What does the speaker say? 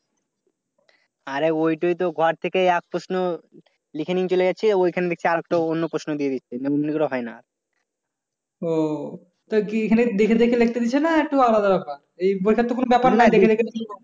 ও তা কি এখানে দেখে দেখে লিখতে দিছে না একটু আলাদা ব্যাপার? এই বইটার তো কোন ব্যাপার না